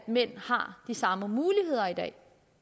mænd har de samme muligheder i dag